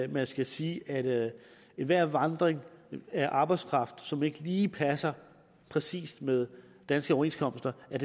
man skal sige at enhver vandring af arbejdskraft som ikke lige passer præcis med danske overenskomster er